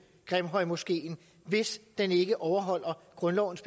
grimhøjmoskeen hvis den ikke overholder grundlovens